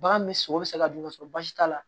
Bagan bɛ sogo bɛ se ka dun ka sɔrɔ basi t'a la